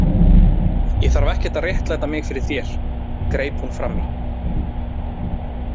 Ég þarf ekkert að réttlæta mig fyrir þér, greip hún fram í.